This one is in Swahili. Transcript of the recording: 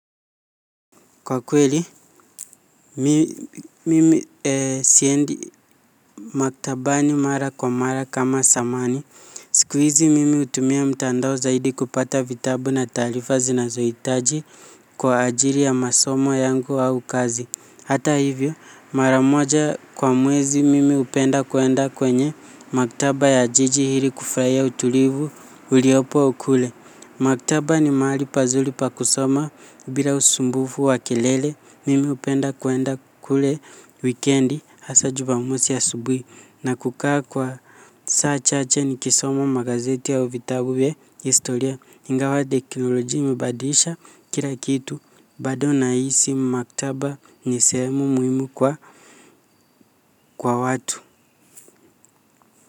Kwa kweli, mimi siendi maktabani mara kwa mara kama zamani siku hizi mimi hutumia mtandao zaidi kupata vitabu na taarifa zinazoitaji kwa ajili ya masomo yangu au kazi hata hivyo, mara moja kwa mwezi mimi hupenda kuenda kwenye maktaba ya jiji ili kufurahia utulivu uliopo ukule. Maktaba ni mahali pazuri pa kusoma bila usumbufu wa kelele mimi hupenda kwenda kule wikendi hasa jumamosi asubui na kukaa kwa saa chache ni kisoma magazeti au vitabu venye historia. Ingawa teknoloji imebadilisha kila kitu bado nahisi maktaba ni sehemu muhimu kwa, kwa watu.